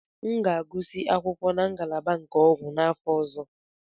M ga-agụsị akwụkwọ na ngalaba nke ọgwụ n'afọ ọzọ.